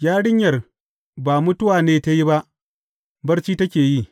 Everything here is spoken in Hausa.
Yarinyar ba mutuwa ne ta yi ba, barci take yi.